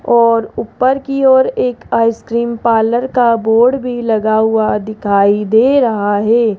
और ऊपर की ओर एक आइसक्रीम पार्लर का बोर्ड भी लगा हुआ दिखाई दे रहा है।